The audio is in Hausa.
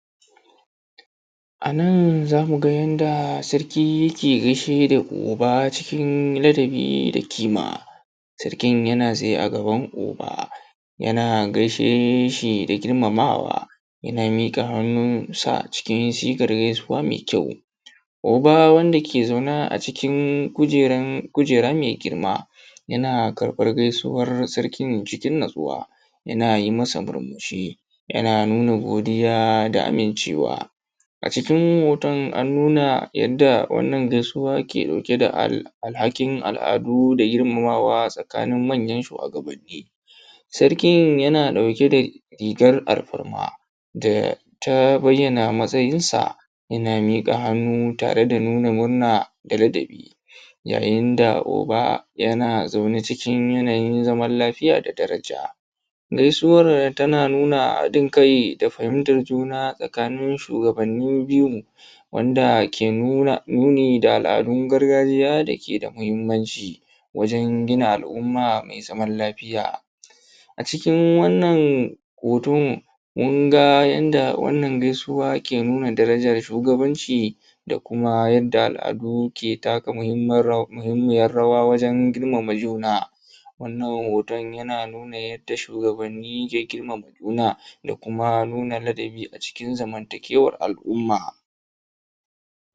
A nan za mu ga yanda sarki yake gaishe da Oba cikin ladabi da kima, sarkin yana tsaye a gaban Oba, yana gaishe shi da girmamaawa, yana miƙa hannunsa cikin sigar gaisuwa mai kyau. Oba wanda yake zaune a cikin kuǳera mai girma, yana karɓar gaisuwar sarkin cikin natsuwa, yana yi masa murmushi, yana nuna godiya da amincewa. A cikin hoton an nuna yadda wannan gaisuwa ke ɗauke da alhakin al’aadu da girmamaawa tsakanin manyan shuwagabanni. Sarkin yana ɗauke da rigar alfarma da ta bayyana matsayinsa yana miƙa hannu tare da nuna murna da ladabi, yayin da Oba yana zaune cikin yanayin zaman lafiya da daraja. Gaisuwar tana nuna haɗin kai da fahimtar juna tsakanin shugabanni biyun, wanda ke nuni da al’adun gargajiya da ke da muhimmanci wajen gina al’umma mai zaman lafiya. A cikin wannan hoton munga yanda wannan gaisuwa ke nuna darajan shugabanci da kuma yadda al’adu ke taka muhimmiyar rawa wajen girmama juna. Wannan hoton yana nuna yadda shugabanni ke girmama juna da kuma nuna ladabi a cikin zamantakewar al’ummaa.